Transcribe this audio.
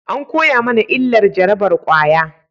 An koya mana illar jarabar kwaya